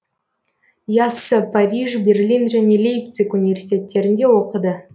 яссы париж берлин және лейпциг университеттерінде оқыды